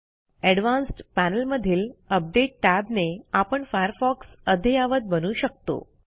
advanced panel मधील update tab ने आपण फायरफॉक्स अद्ययावत बनवू शकतो